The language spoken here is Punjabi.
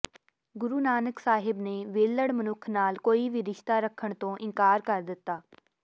ਗੁਰੂ ਨਾਨਕ ਸਾਹਿਬ ਨੇ ਵਿਹਲੜ ਮਨੁੱਖ ਨਾਲ ਕੋਈ ਵੀ ਰਿਸ਼ਤਾ ਰੱਖਣ ਤੋਂ ਇਨਕਾਰ ਕਰ ਦਿੱਤਾ